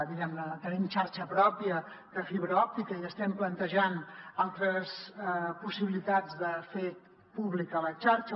diguem ne tenim xarxa pròpia de fibra òptica i estem plantejant altres possibilitats de fer pública la xarxa